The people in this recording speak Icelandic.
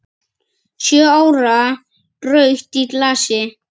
Sjö ára rautt í glasi.